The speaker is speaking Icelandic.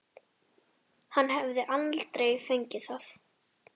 Hann hefði aldrei fengið það.